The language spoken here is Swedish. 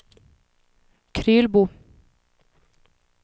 Krylbo